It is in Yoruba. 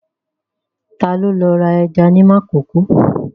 Ta ló lọ ra ẹja ní Makòko?